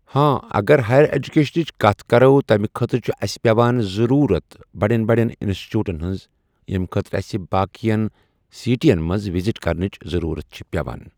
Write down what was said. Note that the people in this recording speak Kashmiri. ہاں اگر ہایر ایجوٗکیشنٕچ کتھ کرو تمہِ خأطرٕ چھ اَسہِ پٮ۪وان ضروٗرت بڈٮ۪ن بڈٮ۪ن اِنسچوٗٹن ہنٛٔز ییٚمہِ خأطرٕ اَسہِ باقین سِٹین منٛز وِزِٹ کرنٕچ ضروٗرَت چھ پٮ۪وان